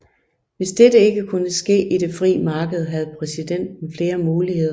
Hvis dette ikke kunne ske i det frie marked havde præsidenten flere muligheder